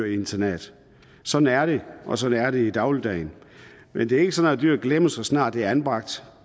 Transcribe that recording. et internat sådan er det og sådan er det i dagligdagen men det er ikke sådan at dyret bliver glemt så snart dyret er anbragt